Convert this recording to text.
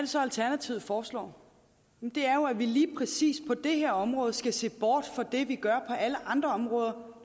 så alternativet foreslår det er jo at vi lige præcis på det her område skal se bort fra det vi gør på alle andre områder